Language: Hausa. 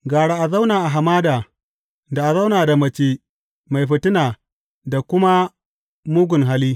Gara a zauna a hamada da a zauna da mace mai fitina da kuma mugun hali.